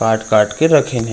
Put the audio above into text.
काट-काट के रखीन हे।